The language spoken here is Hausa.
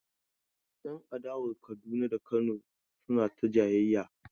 Yan adawan Kaduna da na Kano suna ta jayayya.